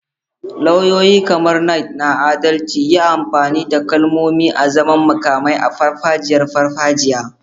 Lauyoyi, kamar Knights na adalci, yi amfani da kalmomi azaman makamai a farfajiyar farfajiyar.